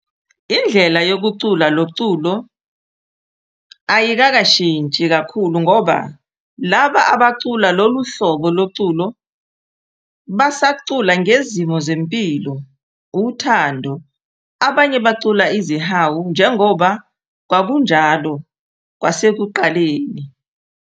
Indlela yokucula loculo ayikakashinthsi kakhulu ngoba laba abacula lolu hlobo loculo basacula ngezimo zempilo, uthhando abanye bacula izihayo njengoba kwakunjalo kwasekuqaleni.